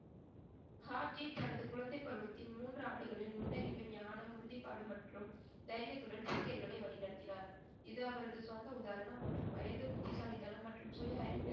ஆப்ஜி தனது குழந்தைப்பருவத்தின் மூன்று ஆண்டுகளில் நுண்ணறிவு, ஞானம், உறுதிப்பாடு மற்றும் தைரியத்துடன் சீக்கியர்களை வழிநடத்தினார். இது அவரது சொந்த உதாரணம் மற்றும் வயது, புத்திசாலித்தனம் மற்றும் சுயஅறிவு.